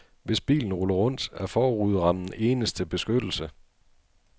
Hvis bilen ruller rundt, er forruderammen eneste beskyttelse.